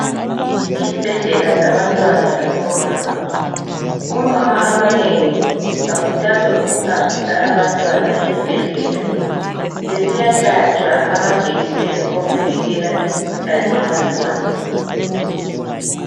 Isibhedlela sabantwana labomama, omama abanengi bakhuthazwa ukuhambisa abantwana esibhedlela besiya hlatshwa amajekiseni okuvikela imkhuhlane yabantwana.